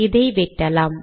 இதை வெட்டலாம்